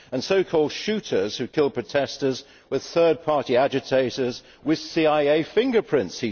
He says that so called shooters, who killed protestors, were third party agitators with CIA fingerprints.